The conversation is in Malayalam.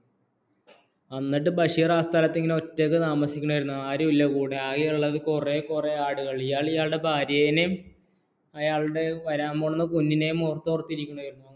ബഷീറേ ആ സ്ഥലത്ത് ഒറ്റയ്ക്ക് താമസിക്കുകയായിരുന്നു ആരുമില്ല കൂടെ ആകെയുള്ളത് കുറെ കുറെ ആടുകള്‍ ഇയാള്‍ ഇയാളുടെ ഭാര്യയെനിയും അയാള്ളുടെ വരാന്‍പോണ കുഞ്ഞിനേയും ഓർത്തോർത്തിയിരിക്കുകയായിരുന്നു